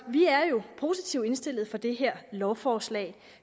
vi er positivt indstillet over for det her lovforslag